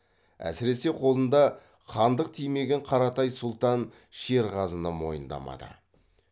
әсіресе қолында хандық тимеген қаратай сұлтан шерғазыны мойындамады